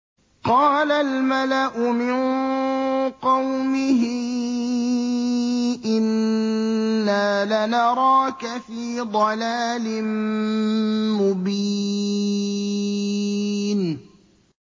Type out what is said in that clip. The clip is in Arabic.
قَالَ الْمَلَأُ مِن قَوْمِهِ إِنَّا لَنَرَاكَ فِي ضَلَالٍ مُّبِينٍ